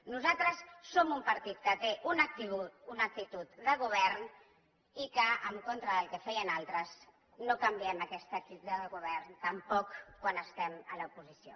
nosaltres som un partit que té una actitud de govern i que en contra del que feien altres no canviem aquesta actitud de govern tampoc quan estem a l’oposició